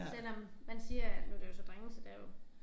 Selvom man siger at nu det jo så drenge så det jo